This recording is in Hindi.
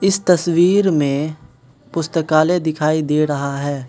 इस तस्वीर में पुस्तकालय दिखाई दे रहा है।